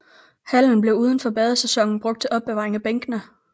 Hallen blev uden for badesæsonen brugt til opbevaring af bænkene